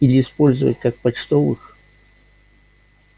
или использовать как почтовых